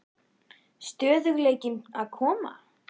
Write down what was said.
Stöðugleikinn að koma?